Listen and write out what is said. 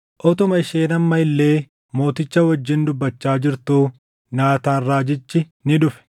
Utuma isheen amma illee mooticha wajjin dubbachaa jirtuu Naataan raajichi ni dhufe.